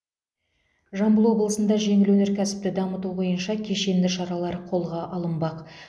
жамбыл облысында жеңіл өнеркәсіпті дамыту бойынша кешенді шаралар қолға алынбақ